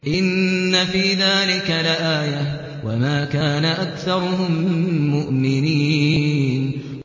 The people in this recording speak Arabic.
إِنَّ فِي ذَٰلِكَ لَآيَةً ۖ وَمَا كَانَ أَكْثَرُهُم مُّؤْمِنِينَ